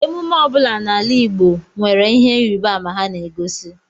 Emume ọ bụla ana eme n'ala Igbo nwere ihe ịrịbama ha na-egosi.